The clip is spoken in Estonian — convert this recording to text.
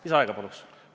Lisaaega palun!